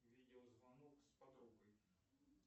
видеозвонок с подругой